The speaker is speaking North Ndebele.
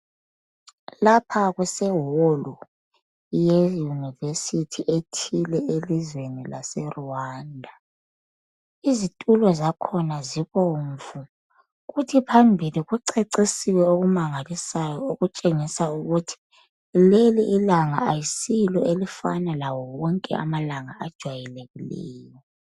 Lapha kuseholu yeuniversity ethile elizweni laseRwanda. Izitulo zakhona zibomvu. Kuthi phambili kucecisiwe okumangalisayo; okutshengisa ukuthi leli ilanga ayisilo elifana lawo wonke amalanga ajwayelekileyo.